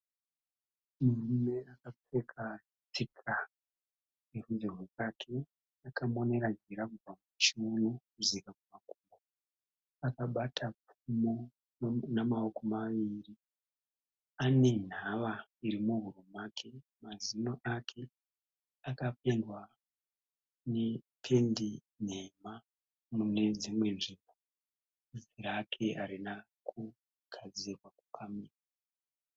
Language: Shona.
Murume akapfeka micheka yerudzi rwekaki akamonera jira kubva muchiuno kudzika kumakumbo. Akabata pfumo namaoko maviri. Anenhava iri muhuro make. Mazino ake akapendwa nependi nhema munedzimwe nzvimbo. Vhudzi rake harina kugadzirwa, kukamwa.